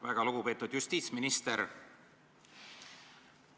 Väga lugupeetud justiitsminister!